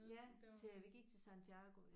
Ja til vi gik til Santiago ja